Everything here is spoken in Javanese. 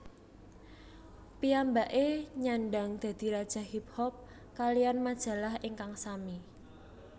Piyambake nyandhang dadi Raja Hip Hop kaliyan majalah ingkang sami